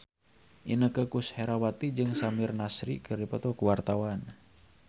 Inneke Koesherawati jeung Samir Nasri keur dipoto ku wartawan